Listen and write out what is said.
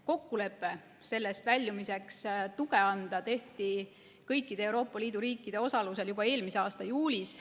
Kokkulepe sellest väljumiseks tuge anda tehti kõikide Euroopa Liidu riikide osalusel juba eelmise aasta juulis.